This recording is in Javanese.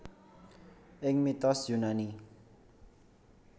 Ing mitos Yunani